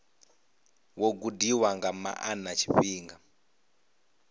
wo gudiwa nga maana tshifhinga